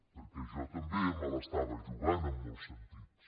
perquè jo també me l’estava jugant en molts sentits